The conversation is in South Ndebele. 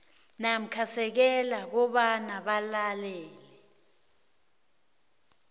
namasekela kobana balele